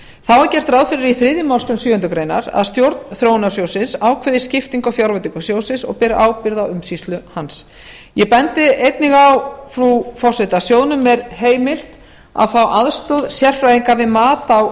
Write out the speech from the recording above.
það er gert ráð fyrir í þriðju málsgrein sjöundu grein að stjórn þróunarsjóðsins ákveði skiptingu á fjárveitingu sjóðsins og beri ábyrgð á umsýslu hans ég bendi einnig á frú forseti að sjóðnum er heimilt að fá aðstoð sérfræðinga við mat á